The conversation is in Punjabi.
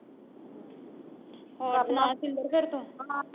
ਹੋਰ ਸੁਣਾ ਸ਼ਿੰਦਰ ਫਿਰ ਤੂੰ